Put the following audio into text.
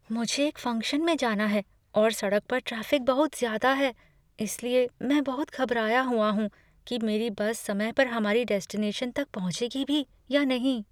मुझे एक फंक्शन में जाना है और सड़क पर ट्रैफिक बहुत ज्यादा है, इसलिए मैं बहुत घबराया हुआ हूँ कि मेरी बस समय पर हमारे डेस्टिनेशन तक पहुंचेगी भी या नहीं।